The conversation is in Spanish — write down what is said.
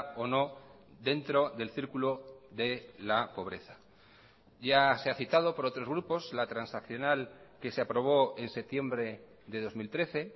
o no dentro del círculo de la pobreza ya se ha citado por otros grupos la transaccional que se aprobó en septiembre de dos mil trece